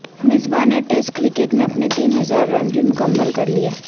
مصباح نے test cricket میں اپنے تین ہزار رنز بھی مکمل کر لیے